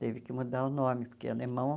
Teve que mudar o nome, porque é alemão.